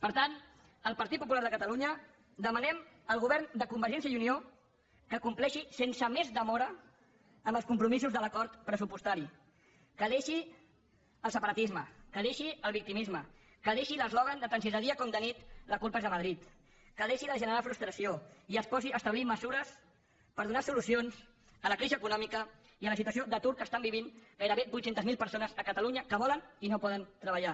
per tant el partit popular de catalunya demanem al govern de convergència i unió que complexi sense més demora amb els compromisos de l’acord pressupostari que deixi el separatisme que deixi el victimisme que deixi l’eslògan de tant si és de dia com de nit la culpa és de madrid que deixi de generar frustració i es posi a establir mesures per donar solucions a la crisi econòmica i a la situació d’atur que estan vivint gairebé vuit cents miler persones a catalunya que volen i no poden treballar